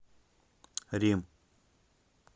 рим